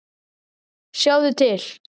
Sjáðu til.